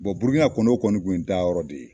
burukina kɔni, o kɔni kun ye n taa yɔrɔ de ye.